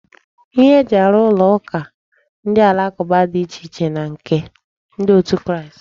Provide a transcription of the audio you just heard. Ihe eji arụ ụlọ ụka ndị alakụba dị iche na nke ndị otu Kristi.